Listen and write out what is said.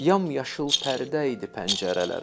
Yamyaşıl pərdə idi pəncərələrə.